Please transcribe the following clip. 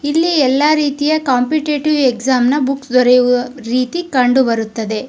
ಇಲ್ಲಿ ಎಲ್ಲರೀತಿಯ competitive exam ನ ಬುಕ್ ದೊರೆಯುವ ರೀತಿ ಕಂಡು ಬರುತ್ತದೆ.